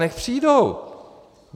Nechť přijdou.